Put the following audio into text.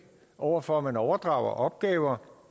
over for at man overdrager opgaver